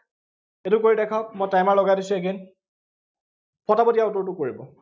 সেইটো কৰি দেখাওঁক, মই timer লগাই দিছো again পটাপট ইয়াৰ উত্তৰটো কৰিব।